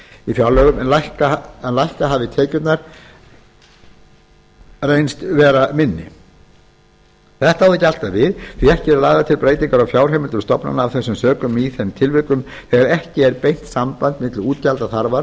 í fjárlögum en lækka hafi tekjurnar reynst vera minni þetta á þó ekki alltaf við því ekki eru lagðar til breytingar á fjárheimildum stofnana af þessum sökum í þeim tilvikum þegar ekki er beint samband milli útgjaldaþarfar